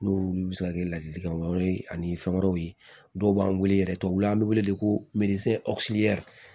N'olu bɛ se ka kɛ ladilikan wɛrɛw ye ani fɛn wɛrɛw ye dɔw b'an wele yɛrɛ tubabuw la an bɛ wele wele ko